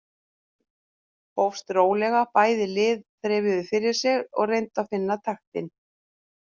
Leikurinn hófst rólega, bæði lið þreifuðu fyrir sér og reyndu að finna taktinn.